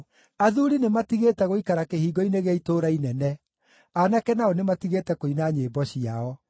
Athuuri nĩmatigĩte gũikara kĩhingo-inĩ gĩa itũũra inene; aanake nao nĩmatigĩte kũina nyĩmbo ciao.